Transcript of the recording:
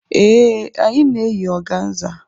Ee, anyị na-eyi organza.